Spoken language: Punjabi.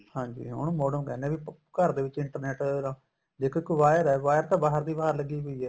ਹਾਂਜੀ ਉਹਨੂੰ modem ਕਹਿਨੇ ਏ ਵੀ ਘਰ ਦੇ ਵਿੱਚ internet ਦੇਖੋ ਇੱਕ wire ਏ wire ਤਾਂ ਬਾਹਰ ਦੀ ਬਾਹਰ ਲੱਗੀ ਹੋਈ ਏ